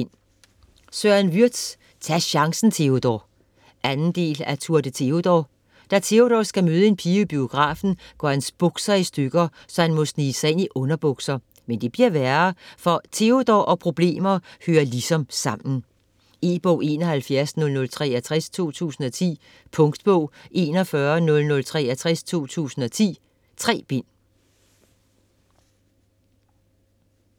Würtz, Søren: Tag chancen, Teodor! 2. del af Tour de Teodor. Da Teodor skal møde en pige i biografen, går hans bukser i stykker, så han må snige sig ind i underbukser. Men det bliver værre, for Teodor og problemer hører ligesom sammen. E-bog 710063 2010. Punktbog 410063 2010. 3 bind.